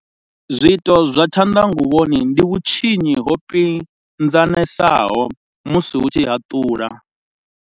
Zwiito zwa tshanḓa nguvhoni ndi vhutshinyi ho pinzanesaho musi u tshi haṱula.